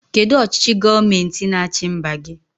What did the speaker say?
Kedụ ọchịchị gọọmenti n'achi mba gị?